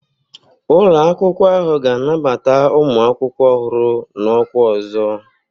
Ụlọ akwụkwọ ahụ ga-anabata ụmụ akwụkwọ ọhụrụ n'ọkwa ọzọ